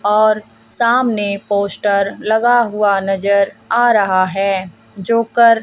और सामने पोस्टर लगा हुआ नजर आ रहा है जो कर--